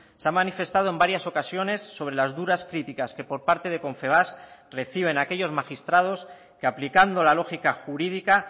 se ha manifestado en varias ocasiones sobre las duras críticas que por parte de confebask reciben aquellos magistrados que aplicando la lógica jurídica